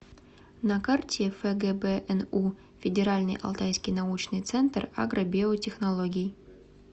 на карте фгбну федеральный алтайский научный центр агробиотехнологий